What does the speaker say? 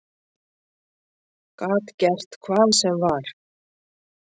Gat gert hvað sem var.